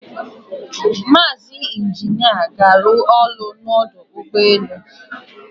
Mazi Injina ga aru olu n' Odu Ugbe elu